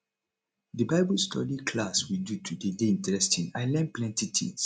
the bible study class we do today dey interesting i learn plenty things